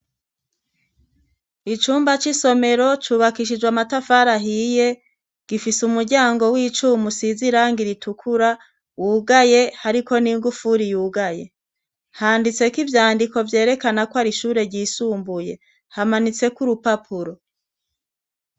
Icumba c'isomero cubakishijwe amatafara ahiye gifise umuryango w'ica mu sizirange iritukura wugaye ariko n'ingufuri yugaye handitse ko ivyandiko byerekana ko ari ishure gyisumbuye hamanitseko urupapuro.